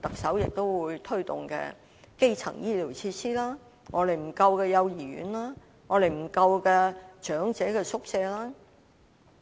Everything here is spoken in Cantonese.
特首將推動的基層醫療設施、一向不足夠的幼兒園和長者宿舍等。